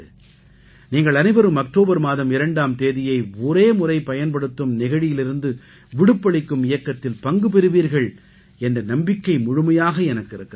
நீங்கள் அனைவரும் அக்டோபர் மாதம் 2ஆம் தேதியை ஒரே முறை பயன்படுத்தும் நெகிழியிலிருந்து விடுப்பு அளிக்கும் இயக்கத்தில் பங்கு பெறுவீர்கள் என்ற நம்பிக்கை முழுமையாக எனக்கு இருக்கிறது